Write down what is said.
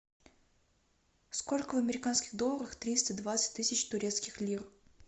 сколько в американских долларах триста двадцать тысяч турецких лир